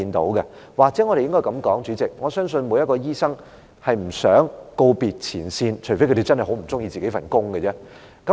主席，或許我們應該這樣說，我相信每名醫生都不想告別前線，除非他們真的很不喜歡自己的工作。